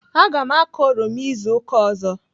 Aga m akọ oroma izu ụka ọzọ.